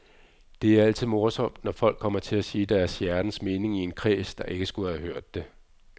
Det er altid morsomt, når folk kommer til at sige deres hjertens mening i en kreds, der ikke skulle have hørt det.